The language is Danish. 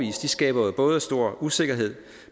skaber både stor usikkerhed